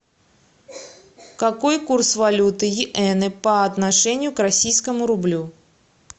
какой курс валюты йены по отношению к российскому рублю